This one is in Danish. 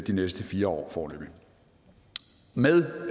de næste fire år foreløbig med